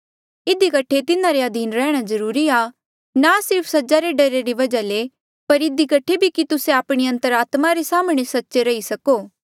इधी कठे तिन्हारे अधीन रैंह्णां जरूरी आ ना सिर्फ सजा रे डरा री वजहा ले पर इधी कठे भी कि तुस्से आपणी अंतरात्मा रे साम्हणें सच्चे रही सको